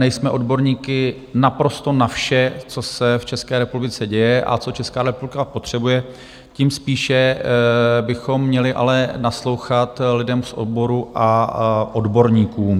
Nejsme odborníky naprosto na vše, co se v České republice děje a co Česká republika potřebuje, tím spíše bychom měli ale naslouchat lidem z oboru a odborníkům.